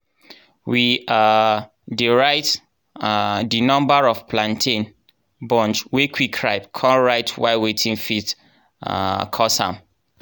we um dey write um di number of plantain bunch wey quick ripe con write why wetin fit um cause am.